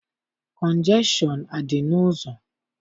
Kọnjekshọn adị n'ụzọ?